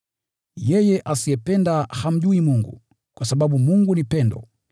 Yeye asiyependa hamjui Mungu, kwa sababu Mungu ni pendo.